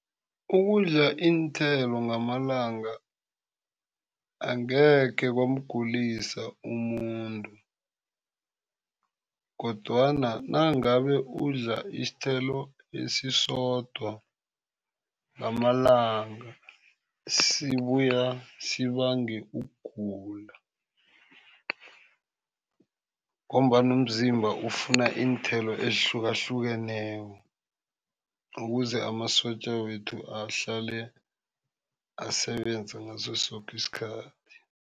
Ukudla iinthelo ngamalanga angekhe kwamgulisa umuntu kodwana nangabe udla isithelo esisodwa ngamalanga sibuya sibange ukugula, ngombana umzimba ufuna iinthelo ezihlukahlukeneko, ukuze amasotja wethu ahlale asebenza ngaso soke isikhathi.